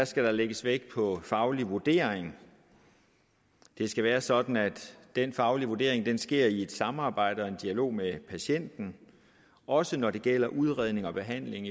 skal der lægges vægt på faglige vurderinger det skal være sådan at den faglige vurdering sker i et samarbejde og en dialog med patienten også når det gælder udredning og behandling